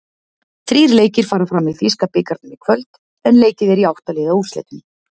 Þrír leikir fara fram í þýska bikarnum í kvöld, en leikið er í átta-liða úrslitum.